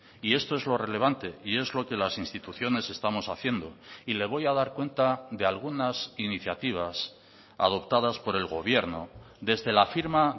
y esto es lo relevante y es lo que las instituciones estamos haciendo y le voy a dar cuenta de algunas iniciativas adoptadas por el gobierno desde la firma